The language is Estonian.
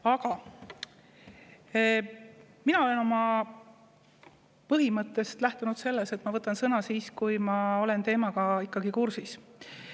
Aga mina olen põhimõtteliselt lähtunud sellest, et ma võtan sõna siis, kui ma olen ikkagi teemaga kursis.